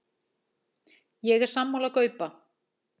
Ég er sammála Gaupa.